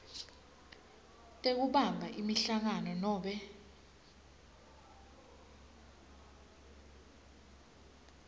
tekubamba imihlangano nobe